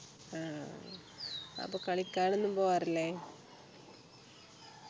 ആഹ് അപ്പൊ കളിക്കാനൊന്നും പോകാറില്ലേ